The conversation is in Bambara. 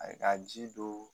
Ayi ka ji don